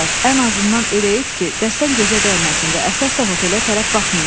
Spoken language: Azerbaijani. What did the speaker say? Ən azından elə et ki, dəstən gözə dəyməsin və əsas da hotelə tərəf baxmayın.